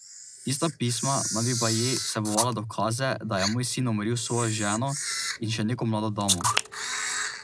Tista pisma naj bi baje vsebovala dokaze, da je moj sin umoril svojo ženo in še neko mlado damo.